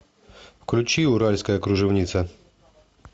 включи уральская кружевница